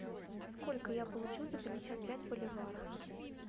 сколько я получу за пятьдесят пять боливаров